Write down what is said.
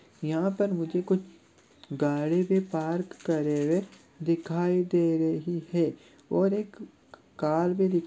यहाँ पर मुझे कुछ गाड़ी भी पार्क करे हुए दिखाई दे रही है और एक कार भी दि--